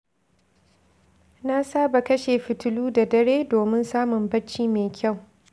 Na saba kashe fitilu da dare domin samun bacci mai kyau.